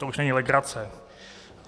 To už není legrace.